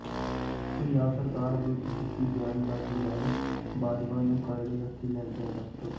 ਪੰਜਾਬ ਸਰਕਾਰ ਵਿਰੁੱਧ ਕੀਤੀ ਬਿਆਨਬਾਜੀ ਬਾਰੇ ਬਾਜਵਾ ਨੂੰ ਕਰੜੇ ਹੱਥੀਂ ਲੈਂਦਿਆਂ ਡਾ